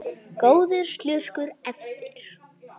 Góður slurkur eftir.